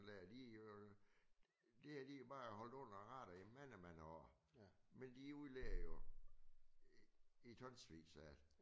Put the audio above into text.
Han lagde lige øh det har de bare holdt under radaren i mange mange år men de udleder jo et tonsvis af